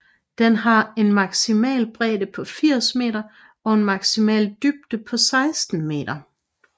Den har en maksimal bredde på 80 m og en maksimal dybde på 16 m